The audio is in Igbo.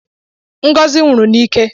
Ngozi nwụrụ n’ike